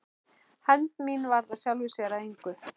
Hefnd mín varð af sjálfu sér að engu.